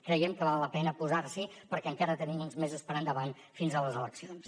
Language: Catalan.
creiem que val la pena posar s’hi perquè encara tenim uns mesos per endavant fins a les eleccions